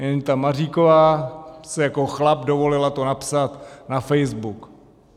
Jen ta Maříková si jako chlap dovolila to napsat na Facebook.